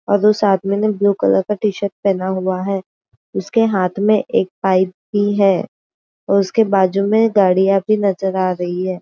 और उस आदमी ने ब्लू कलर का टी-शर्ट पहना हुआ है उसके हाथ में एक पाइप भी है और उसके बाजू में गाड़िया भी नजर आ रही है।